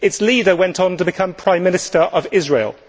Its leader went on to become Prime Minister of Israel.